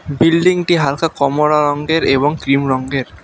বিল্ডিংটি হালকা কমরা রঙ্গের এবং ক্রিম রঙ্গের ।